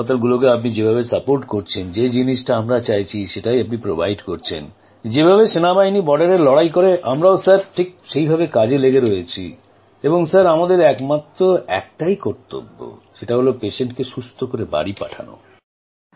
হাসপাতালগুলিকে আপনি যেভাবে সাহায্য করছেন যে জিনিসটা আমরা চাইছি সেটাই আপনি যোগান করছেন যেভাবে সেনাবাহিনী সীমান্তে লড়াই করে আমরাও ঠিক সেভাবে কাজে লেগে রয়েছি এবং আমাদের কেবলমাত্র একটাই কর্তব্য রোগীকে সুস্থ করে বাড়ি পাঠানো